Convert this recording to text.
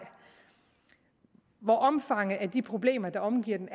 hvor omfanget af de problemer der omgav dem